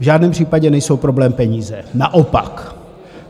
V žádném případě nejsou problém peníze, naopak.